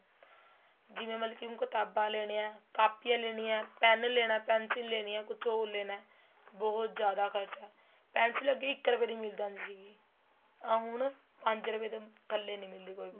ਜਿਵੇਂ ਮਤਲਬ ਕੀ ਹੁਣ ਕ਼ਿਤਾਬਾਂ ਲੈਣੀਆਂ ਏ ਕਾਪੀਆਂ ਲੈਣੀਆਂ ਏ pen ਲੈਣਾ pencil ਲੈਣੀ ਏ ਕੁੱਛ ਹੋਰ ਲੈਣਾ ਬਹੁਤ ਜਿਆਦਾ ਖਰਚਾ ਏ pencil ਅੱਗੇ ਇੱਕ ਰੁਪਏ ਦੀ ਮਿਲ ਜਾਂਦੀ ਸੀਗੀ ਆ ਹੁਣ ਪੰਜ ਰੁਪਏ ਤੋ ਥੱਲੇ ਨਹੀਂ ਮਿਲਦੀ ਹੈਗੀ ਕੋਈ ਵੀ